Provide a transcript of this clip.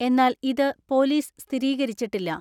എന്നാൽ ഇത് പൊലീസ് സ്ഥിരീകരിച്ചിട്ടില്ല.